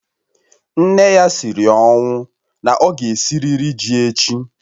Nne ya siri ọnwụ na ọ ga-esirịrị ji echi